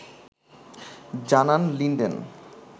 জানান লিনডেন